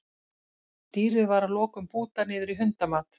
Dýrið var að lokum bútað niður í hundamat.